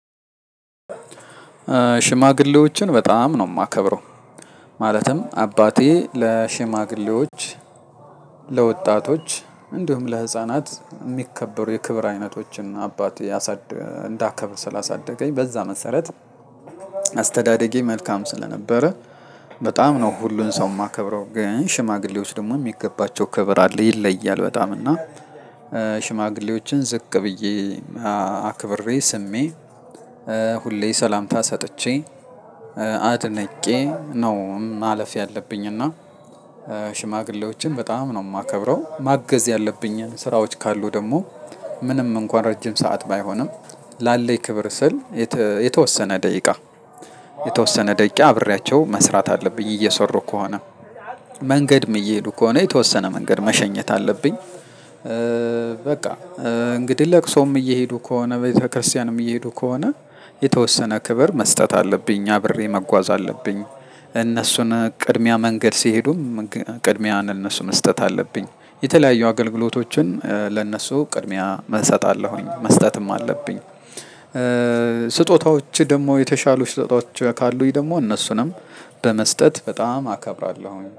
ሽማግሌዎችን በጣም ነው የማከብረው። ማለትም አባቴ ለሽማግሌዎች ለወጣቶች እንዲሁም ለህፃናት የሚከበሩ የክብር አይነቶችን አባቴ አሳድ እንዳከብር ስላሳደገኝ በዛ መሰረት። አስተዳደጌ መልካም ስለነበረ። በጣም ነው ሁሉን ሰው የማከብረው ግን ሽማግሌዎች ደግሞ የሚገባቸው ክብር አለ። ይለያል በጣም እና ሽማግሌዎችን ዝቅ ብዬ አክብሬ ስሜ ሁሌ ሰላምታ ሰጥቼ አድነቄ ነው። ማለፍ ያለብኝና። በጣምነውማከብረው ማገዝ ያለብኚን ስራወቺ ደግሞ ምንምንኩአን ረጅምሰዓት ባይሆንም ላለኝ ክብርስል የተ የተወሰነ ደቂቃ የተወሰነ ደቂቃ አብሬ መስራት አለብኚ እየሰሩከሆነ መንገድምከሆነ መሸኘት አለብኝ። በቃ። እንግዲህ ለቅሶም እየሄዱ ከሆነ ቤተክርስቲያንም እየሄዱ ከሆነ የተወሰነ ክብር መስጠት አለብኝ። አብሬ መጓዝ አለብኝ። እነሱን ቅድሚያ መንገድ ሲሄዱም ቅድሚያን ለኑሱ መስጠት አለብኝ። የተለያዩ አገልግሎቶችን ለእነሱ ቅድሚያ እሰጣለሁ መስጠትም አለብኝ። ስጦታዎች ደግሞ የተሻሉ ስጦታዎች ካሉኝ ደግሞ እነሱንም በመስጠት በጣም አከብራለሁ